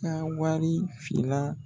Ka wari fila